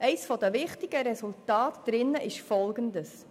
Eines der wichtigsten Resultate ist Folgendes: